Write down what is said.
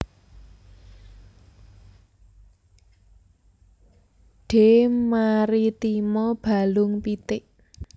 D maritima balung pitik